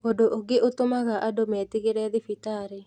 Ũndũ ũngĩ ũtũmaga andũ metigĩre thibitarĩ